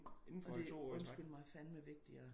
Og det er undskyld mig fandeme vigtigere at